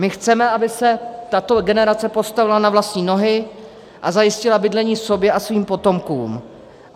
My chceme, aby se tato generace postavila na vlastní nohy a zajistila bydlení sobě a svým potomkům.